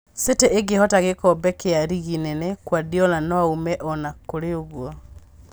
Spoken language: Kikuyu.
City ĩngĩhota gĩkombe kĩa rigi nene, Kuradiola noaume ona kũrĩ ũguo